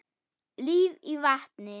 Líf í vatni.